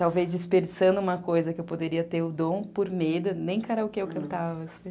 Talvez dispersando uma coisa que eu poderia ter o dom, por medo, nem karaokê eu cantava, assim.